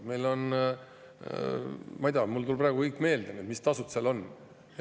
Ma ei tea, mul ei tule praegu kõik tasud meelde, mis seal on.